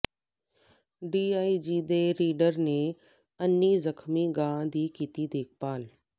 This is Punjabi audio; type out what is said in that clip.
ਡੀਆਈਜੀ ਦੇ ਰੀਡਰ ਨੇ ਅੰਨੀ ਜ਼ਖ਼ਮੀ ਗਾਂ ਦੀ ਕੀਤੀ ਦੇਖਭਾਲ